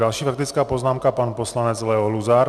Další faktická poznámka pan poslanec Leo Luzar.